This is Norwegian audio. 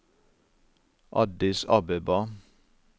Addis Abeba